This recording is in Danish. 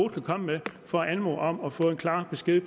kan komme med for at anmode om at få en klar besked